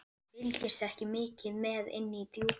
Þið fylgist ekki mikið með inni í Djúpi.